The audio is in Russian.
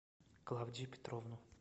клавдию петровну